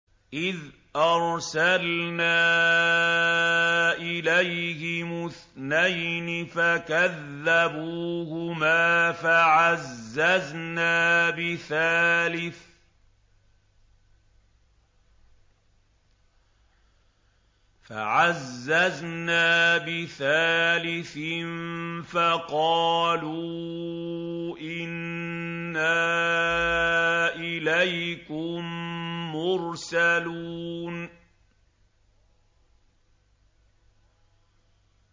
إِذْ أَرْسَلْنَا إِلَيْهِمُ اثْنَيْنِ فَكَذَّبُوهُمَا فَعَزَّزْنَا بِثَالِثٍ فَقَالُوا إِنَّا إِلَيْكُم مُّرْسَلُونَ